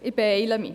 Ich beeile mich.